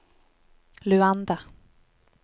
Luanda